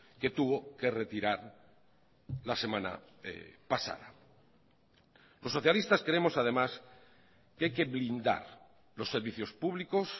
que tuvo que retirar la semana pasada los socialistas creemos además que hay que blindar los servicios públicos